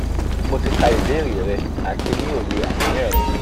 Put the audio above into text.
mo ti ka ibeere re ati ni oye aniyan re